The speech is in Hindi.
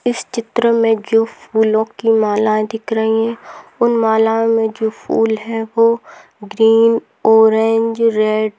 इस चित्र मे जो फूलो की मालाये दिख रही उन मालाओ मे यो फूल है वो ग्रीन ऑरेंज रेड --